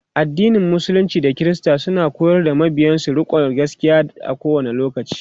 addinin musulunci da kirista suna koyar da mabiyansu rikonda gaskia a kowani lokaci